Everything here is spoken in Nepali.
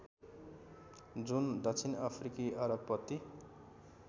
जुन दक्षिणअफ्रिकी अर्बपति